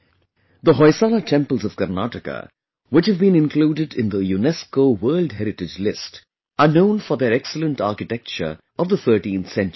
The Hoysala temples of Karnataka, which have been included in the UNESCO World Heritage List, are known for their excellent architecture of the 13th century